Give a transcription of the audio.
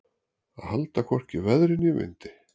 Að halda hvorki veðri né vindi